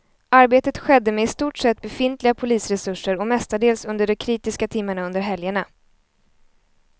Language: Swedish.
Arbetet skedde med i stort sett befintliga polisresurser och mestadels under de kritiska timmarna under helgerna.